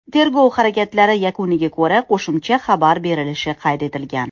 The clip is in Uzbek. Tergov harakatlari yakuniga ko‘ra, qo‘shimcha xabar berilishi qayd etilgan.